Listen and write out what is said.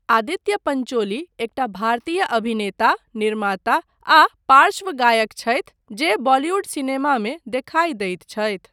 आदित्य पंचोली एकटा भारतीय अभिनेता, निर्माता आ पार्श्व गायक छथि जे बॉलीवुड सिनेमामे देखाई दैत छथि।